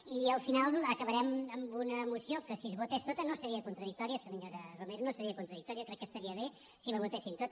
i al final acabarem amb una moció que si es votés tota no seria contradictòria senyora romero no seria contradictòria crec que estaria bé si la votessin tota